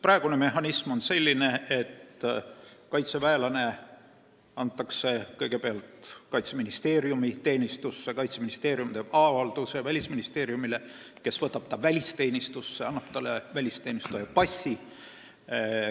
Praegune mehhanism on selline, et kaitseväelane antakse kõigepealt Kaitseministeeriumi teenistusse, Kaitseministeerium teeb avalduse Välisministeeriumile, kes võtab ta välisteenistusse ja annab talle välisteenistuja passi.